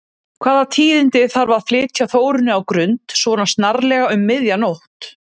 Hvaða tíðindi þarf að flytja Þórunni á Grund, svona snarlega, um miðja nótt?